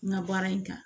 N ka baara in kan